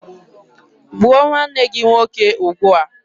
Gbuo nwanne gị nwoke ugbua!